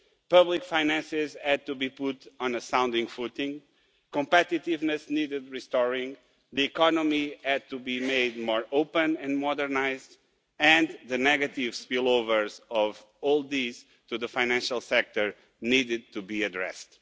Public finances had to be put on a sound footing, competitiveness needed restoring, the economy had to be made more open and modernised and the negative spill-overs of all this to the financial sector needed to be addressed.